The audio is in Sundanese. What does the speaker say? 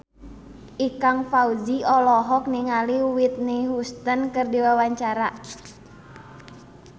Ikang Fawzi olohok ningali Whitney Houston keur diwawancara